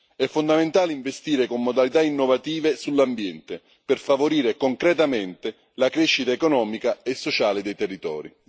È fondamentale investire con modalità innovative sull'ambiente per favorire concretamente la crescita economica e sociale dei territori.